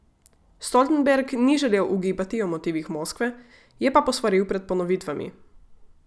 Stoltenberg ni želel ugibati o motivih Moskve, je pa posvaril pred ponovitvami.